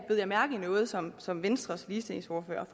jeg mærke i noget som som venstres ligestillingsordfører